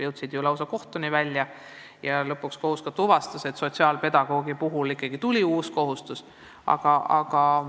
Jõuti ju lausa kohtuni välja ja lõpuks kohus võttis seisukoha, et sotsiaalpedagoogi teenuse näol ikkagi tuli uus kohustus omavalitsusele.